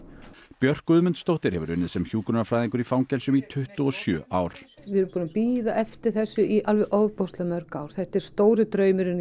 Björk Guðmundsdóttir hefur unnið sem hjúkrunarfræðingur í fangelsum í tuttugu og sjö ár við erum búin að bíða eftir þessu í alveg ofboðslega mörg ár þetta er stóri draumurinn